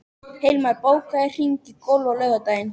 Hilmar, bókaðu hring í golf á laugardaginn.